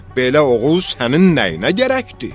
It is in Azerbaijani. Belə oğul sənin nəyinə gərəkdir?